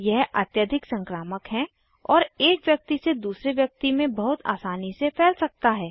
यह अत्यधिक संक्रामक है और एक व्यक्ति से दूसरे व्यक्ति में बहुत आसानी से फैल सकता है